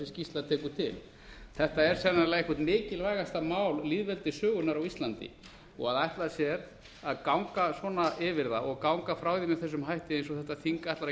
skýrsla tekur til þetta er sennilega eitt mikilvægasta mál lýðveldissögunnar á íslandi og að ætla sér að ganga svona yfir það og ganga frá því með þessum hætti eins og þetta þing ætlar að